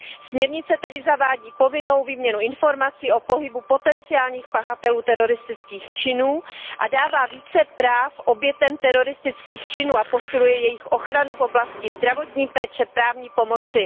Směrnice tedy zavádí povinnou výměnu informací o pohybu potenciálních pachatelů teroristických činů a dává více práv obětem teroristických činů a posiluje jejich ochranu v oblasti zdravotní péče, právní pomoci.